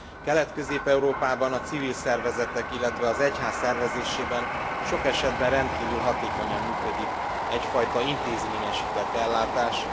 Kelet Közép Európában a civil szervezetek, illetve az egyház szervezésében sok esetben rendkívül hatékonyan működik egyfajta intézményesített eljárás.